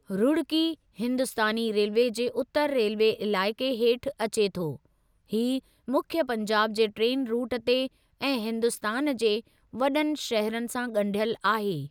Roorkee Hindustani railway जे उतरु railway इलाइक़े हेठि अचे थो, हीउ मुख्य पंजाब जे ट्रेन रूट ते ऐं हिन्दुस्तान जे वॾनि शहरनि सां ॻंढियल आहे।